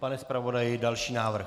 Pane zpravodaji, další návrh.